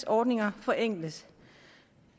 ordninger forenkles